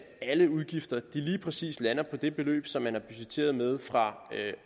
alle udgifter lige præcis lander på det beløb som man har budgetteret med fra